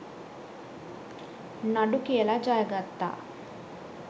නඩු කියලා ජය ගත්තා.